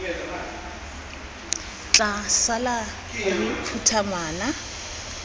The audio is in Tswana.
tla sala re phutha ngwana